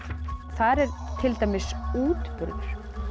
þar er til dæmis útburður